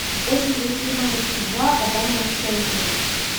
очень плохие мамочки два адама шенкмана